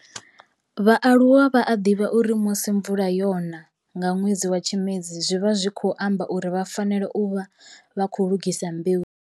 Vhaaluwa vha a divha uri musi mvula yona nga nwedzi wa Tshimedzi zwi vha zwi tshi khou amba uri vha fanela u vha vha khou lugisa mbeu.